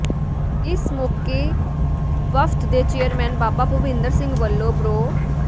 ਇਸ ਮੌਕੇ ਵਫ਼ਦ ਦੇ ਚੇਅਰਮੈਨ ਬਾਬਾ ਭੁਪਿੰਦਰ ਸਿੰਘ ਵੱਲੋਂ ਪ੍ਰੋ